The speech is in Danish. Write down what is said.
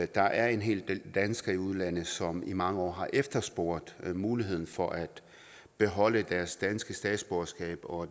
der er en hel del danskere i udlandet som i mange år har efterspurgt muligheden for at beholde deres danske statsborgerskab og